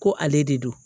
Ko ale de don